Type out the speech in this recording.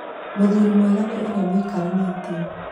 muthuri mwega nĩ ũrĩa mũikaranĩtie